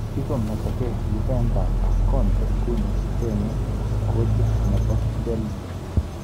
Kikometokei Juventus ak Conte nguni kochengei kochit nebo Chelsea.